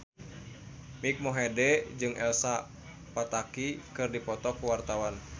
Mike Mohede jeung Elsa Pataky keur dipoto ku wartawan